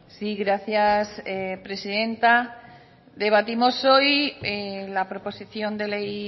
sí gracias presidenta debatimos hoy la proposición de ley